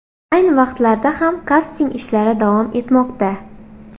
Ayni vaqtlarda ham kasting ishlari davom etmoqda.